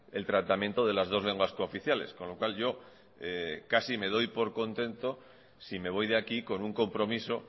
el tratamiento de las dos lenguas cooficiales con lo cual yo casi me doy por contento si me voy de aquí con un compromiso